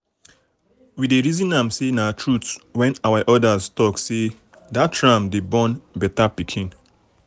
we dey reason am say na um truth when our elders talk say “that ram dey born better pikin.”